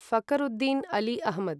Fakhruddin Ali Ahmad